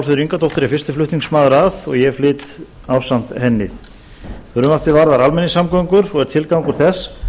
álfheiður ingadóttir er fyrsti flutningsmaður að og ég flyt ásamt henni frumvarpið varðar almenningssamgöngur og er tilgangur þess að